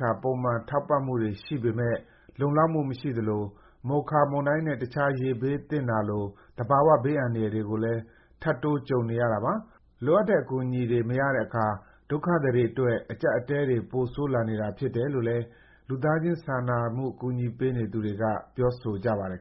ခာ ပုံမှန်ထောက်ပံ့မှုတွေ ရှိပေမဲ့ လုံလောက်မှုမရှိသလို၊ မိုခါ မုန်တိုင်းနဲ့ တခြား ရေဘေးသင့်တာလို သဘာဝဘေး အန္တရာယ်တွေကိုလည်း ထပ်တိုး ကြုံနေရတာပါ။ လိုအပ်တဲ့ ကူညီထောက်ပံ့မှုတွေ မရတဲ့အခါ ဒုက္ခသည်တွေအတွက် အကျပ်အတည်းတွေ ပိုဆိုးလာနေတာဖြစ်တယ်လို့လည်း လူသားချင်း စာနာကူညီပေးနေသူတွေက ပြောဆိုကြပါတယ်